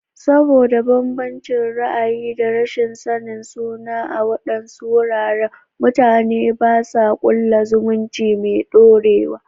Saboda bambancin ra'ayi da rashin sanin sunansu a waɗannan wuraren, mutane ba sa kulla zumunci mai dorewa.